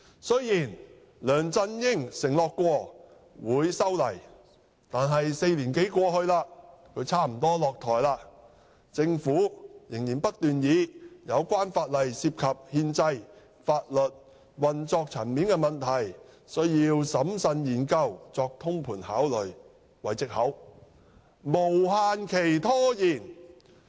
雖然梁振英曾承諾修例，但4年多過去，他差不多也落台了，政府仍然不斷以有關法例修訂涉及憲制、法律和運作層面的問題，需要審慎研究及作通盤考慮為藉口，無限期拖延。